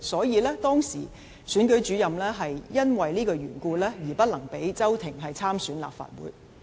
因此，當時的選舉主任基於這原故而不能讓周庭參選立法會。